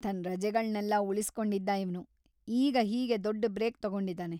ತನ್‌ ರಜೆಗಳ್ನೆಲ್ಲ ಉಳಿಸ್ಕೊಂಡಿದ್ದ ಇವ್ನು, ಈಗ ಹೀಗೆ ದೊಡ್ಡ ಬ್ರೇಕ್ ತಗೊಂಡಿದಾನೆ.